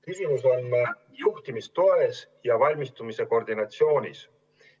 Küsimus on juhtimistoes ja valmistumise koordineerimises.